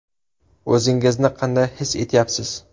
O‘zingizni qanday his etyapsiz?